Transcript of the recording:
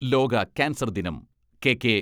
ലോക കാൻസർ ദിനം കെ.കെ.